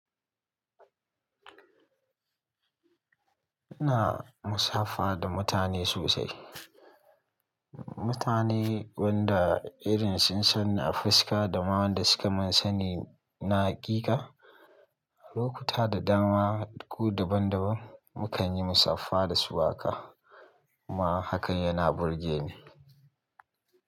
Ina musafaha da mutane sosai, mutane wanda irin sun sanni a fuska da ma wanda suka mun sani na hakika. Lokuta da dama ko daban-daban mu kan yi musafaha da su haka. Kuma hakan yana burge ni.